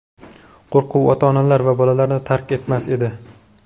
Qo‘rquv ota-onalar va bolalarni tark etmas edi.